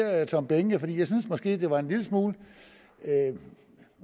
herre tom behnke jeg synes måske det var en lille smule